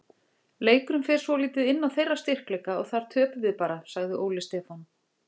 Leikurinn fer svolítið inn á þeirra styrkleika og þar töpum við bara, sagði Óli Stefán.